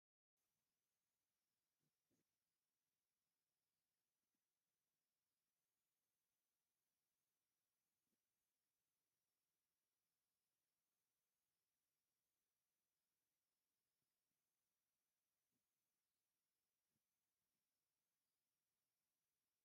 እዚ መስጊድ የርኢ። እቲ ገዛ ብመንደቕ ዝተኸበበ ኮይኑ፡ ኣብ ልዕሊኡ ድማ ቀጠልያ ኣብ ላዕሊ መስጊድ ምልክት ዝኾነ ግምቢ ደው ኢሉ ኣሎ። ኣብ ቅድሚት መንደቕን ፋሕ ዝበለ ኣትክልትን ይረአ። ኣብ ስእሊ ዘሎ መስጊድ እንታይ ሕብሪ ኣለዎ?